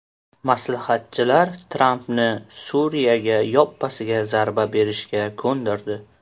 Maslahatchilar Trampni Suriyaga yoppasiga zarba berishga ko‘ndirdi.